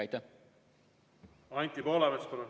Anti Poolamets, palun!